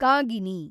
Kagini